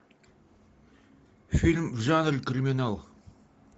фильм в жанре криминал